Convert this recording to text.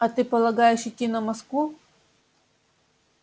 а ты полагаешь идти на москву